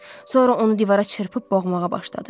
Sonra onu divara çırpıb boğmağa başladı.